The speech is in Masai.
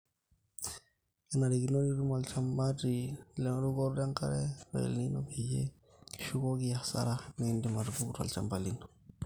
kenarikino nitum olchumati le erukoto enkare e el nino peyie kishukoki asara naidim atupuku tolchamba lino